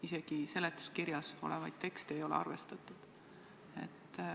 Isegi seletuskirjas olevaid tekste ei ole arvestatud.